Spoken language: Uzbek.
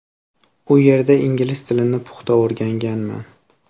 U yerda ingliz tilini puxta o‘rganganman.